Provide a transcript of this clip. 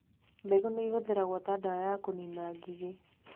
Mbegũ nĩ ihũthagĩrũo ta ndawa ya kũniina ngigĩ